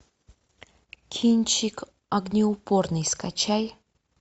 кинчик огнеупорный скачай